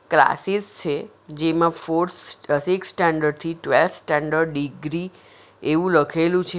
Classes છે જેમાં fourth six standard થી ટ્વેલ્થ સ્ટાન્ડર્ડ ડિગ્રી એવું લખેલું છે.